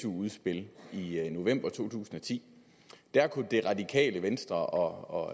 udspil i november to tusind og ti der kunne det radikale venstre og